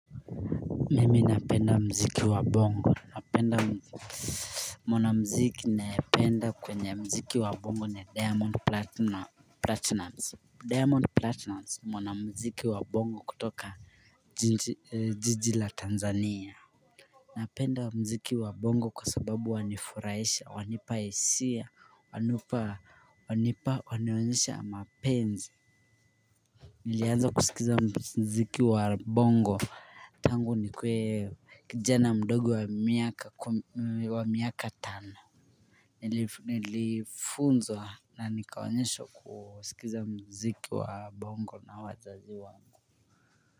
Mimi napenda muziki wa bongo napenda mwanamuziki nayependa kwenye mziki wa bongo ni Diamond Platinum, Diamond Platinum mwanamuziki wa bongo kutoka jiji la Tanzania Napenda muziki wa Bongo kwasababu wanifurahisha wanipa hisia, wanipa wanionyesha mapenzi Nilianza kusikiza muziki wa Bongo tangu nikue kijana mdogo wa miaka tano Nilifunzwa na nikawanyesha kusikiza muziki wa Bongo na wazazi wangu.